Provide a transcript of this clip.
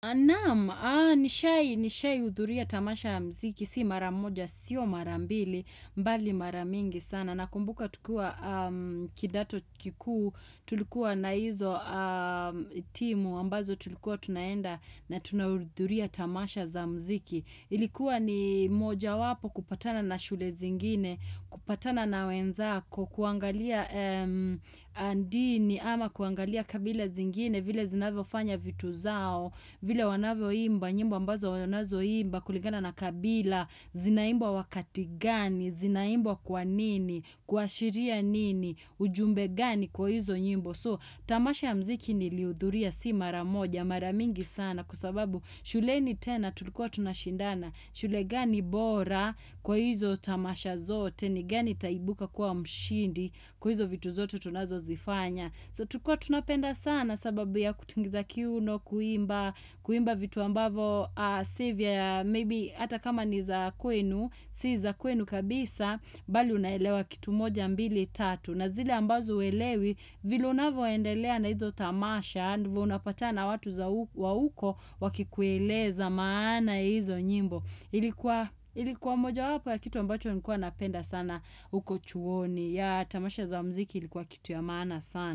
Naam, nishai nishai hudhuria tamasha ya mziki, si mara moja, sio mara mbili, mbali mara mingi sana. Nakumbuka tukiwa kidato kikuu, tulikuwa na hizo timu, ambazo tulikuwa tunaenda na tunahudhuria tamasha za mziki. Ilikuwa ni moja wapo kupatana na shule zingine, kupatana na wenzako, kuangalia dini ama kuangalia kabila zingine, vile zinavyofanya vitu zao vile wanavyoimba nyimbo ambazo wanazoimba Kuligana na kabila Zinaimbwa wakati gani Zinaimbwa kwa nini kuashiria nini ujumbe gani kwa hizo nyimbo Tamasha ya mziki nilihudhuria si mara moja Mara mingi sana Kwa sababu shuleni tena tulikuwa tunashindana shule gani bora Kwa hizo tamasha zote ni gani itaibuka kwa mshindi Kwa hizo vitu zote tunazozifanya So tulikuwa tunapenda sana sababu ya kutingiza kiuno kuimba kuimba vitu ambavo si vya maybe hata kama ni za kwenu si za kwenu kabisa bali unaelewa kitu moja mbili tatu na zile ambazo huelewi vile unavyoendelea na hizo tamasha ndivo unapatana watu za wa huko wakikueleza maana hizo nyimbo ilikuwa moja wapo ya kitu ambacho nikuwa napenda sana uko chuoni ya tamasha za mziki ilikuwa kitu ya maana sana.